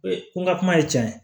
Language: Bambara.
ko n ka kuma ye tiɲɛ ye